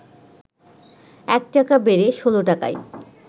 ১ টাকা বেড়ে ১৬ টাকায়